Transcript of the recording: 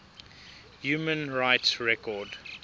human rights record